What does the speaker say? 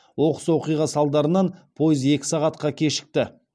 оқыс оқиға салдарынан пойыз екі сағатқа кешікті